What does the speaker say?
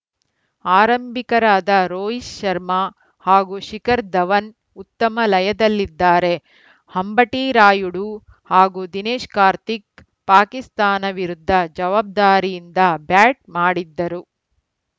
ಆರಂಭಿಕರಾದ ರೋಹಿತ್‌ ಶರ್ಮಾ ಹಾಗೂ ಶಿಖರ್‌ ಧವನ್‌ ಉತ್ತಮ ಲಯದಲ್ಲಿದ್ದಾರೆ ಅಂಬಟಿ ರಾಯುಡು ಹಾಗೂ ದಿನೇಶ್‌ ಕಾರ್ತಿಕ್‌ ಪಾಕಿಸ್ತಾನ ವಿರುದ್ಧ ಜವಾಬ್ದಾರಿಯಿಂದ ಬ್ಯಾಟ್‌ ಮಾಡಿದ್ದರು